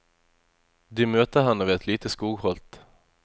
De møter henne ved et lite skogholt.